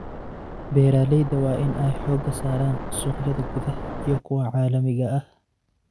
Beeralayda waa in ay xoogga saaraan suuqyada gudaha iyo kuwa caalamiga ah.